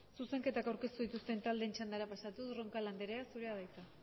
zuzenketak aurkeztu dituzten taldeen txandara pasatuz roncal anderea zurea da hitza